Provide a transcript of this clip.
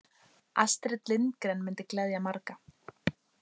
Astrid Lindgren myndi gleðja marga.